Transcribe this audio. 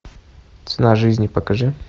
цена жизни покажи